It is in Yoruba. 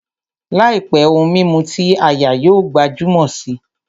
Làìpé, ohun mímu ti áyá yóò gbajúmọ̀ si